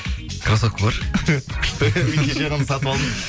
крассовка бар күшті кеше ғана сатып алдым